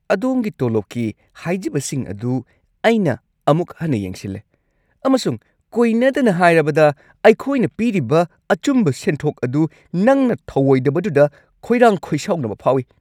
ꯑꯗꯣꯝꯒꯤ ꯇꯣꯂꯣꯞꯀꯤ ꯍꯥꯏꯖꯕꯁꯤꯡ ꯑꯗꯨ ꯑꯩꯅ ꯑꯃꯨꯛ ꯍꯟꯅ ꯌꯦꯡꯁꯤꯟꯂꯦ, ꯑꯃꯁꯨꯡ ꯀꯣꯏꯅꯗꯅ ꯍꯥꯏꯔꯕꯗ, ꯑꯩꯈꯣꯏꯅ ꯄꯤꯔꯤꯕ ꯑꯆꯨꯝꯕ ꯁꯦꯟꯊꯣꯛ ꯑꯗꯨ ꯅꯪꯅ ꯊꯧꯑꯣꯏꯗꯕꯗꯨꯗ ꯈꯣꯏꯔꯥꯡ-ꯈꯣꯏꯁꯥꯎꯅꯕ ꯐꯥꯎꯏ ꯫